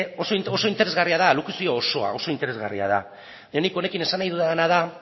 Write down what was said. oso interesgarria da alokuzio osoa oso interesgarria da eta nik honekin esan nahi dudana da